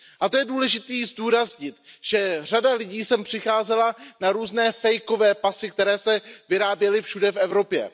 A to je důležité zdůraznit, že řada lidí sem přicházela na různé falešné pasy, které se vyráběly všude v Evropě.